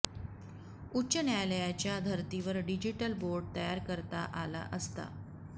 उच्च न्यायालयाच्या धर्तीवर डिजिटल बोर्ड तयार करता आला असता